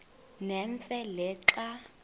nemfe le xa